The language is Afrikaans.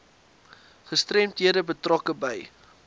gestremdhede betrokke by